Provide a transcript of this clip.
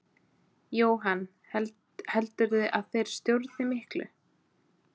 Jóhann: Heldurðu að þeir stjórni miklu?